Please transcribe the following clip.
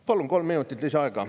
Palun kolm minutit lisaaega.